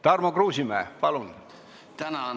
Tarmo Kruusimäe, palun!